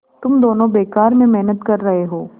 तुम दोनों बेकार में मेहनत कर रहे हो